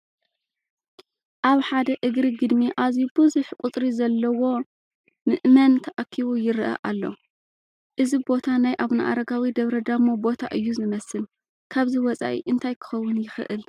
ኣብ ሓደ እግሪ ግድሚ ኣዝዩ ብዙሕ ቁፅሪ ዘለዎ ምእመን ተኣኪቡ ይርአ ኣሎ፡፡ እዚ ቦታ ናይ ኣቡነ ኣረጋዊ ደብረ ዳሞ ቦታ እዩ ዝመስል፡፡ ካብዚ ወፃኢ እንታይ ክኸውን ይኽእል?